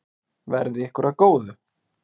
Verði ykkur að góðu.